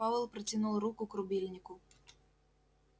пауэлл протянул руку к рубильнику